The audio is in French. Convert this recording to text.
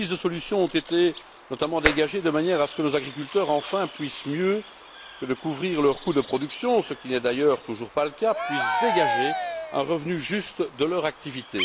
Des pistes de solution ont été dégagées de manière à ce que nos agriculteurs, enfin, puissent, mieux que de couvrir leurs coûts de production ce qui n'est d'ailleurs toujours pas le cas dégager un revenu juste de leur activité.